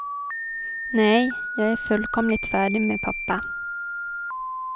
Nej, jag är fullkomligt färdig med pappa.